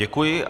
Děkuji.